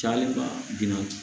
Caya binna